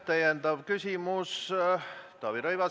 Täiendav küsimus, Taavi Rõivas.